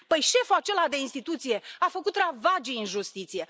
Păi șeful acela de instituție a făcut ravagii în justiție.